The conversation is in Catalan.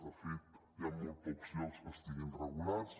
de fet hi han molt pocs llocs que estiguin regulats